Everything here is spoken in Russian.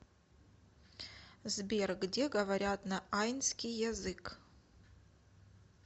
сбер где говорят на айнский язык